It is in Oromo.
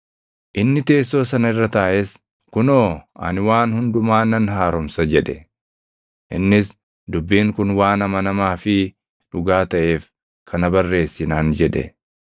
Inni teessoo sana irra taaʼes, “Kunoo, ani waan hundumaa nan haaromsa!” jedhe; innis, “Dubbiin kun waan amanamaa fi dhugaa taʼeef, kana barreessi” naan jedhe.